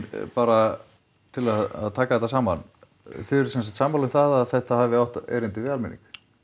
bara til að taka þetta saman þið eruð sem sagt sammála um það að þetta hafi átt erindi við almenning